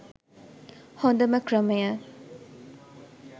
හොදම ක්‍රමය.